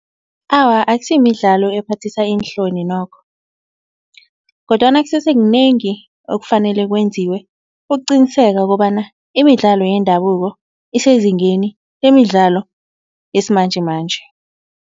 Awa akusimidlalo ephathisa iinhloni nokho kodwana kusese kunengi okufanele kwenziwe ukuqiniseka kobana imidlalo yendabuko isezingeni lemidlalo yesimanjemanje.